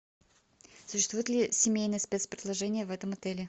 существует ли семейное спец предложение в этом отеле